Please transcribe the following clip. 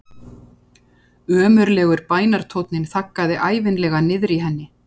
Ömurlegur bænartónninn þaggaði ævinlega niður í henni.